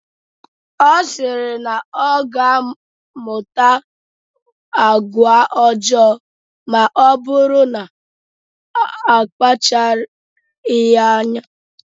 Ọ sịrị na ọ ga-amụta agwa ọjọọ maọbụrụ na akpachaghi anya.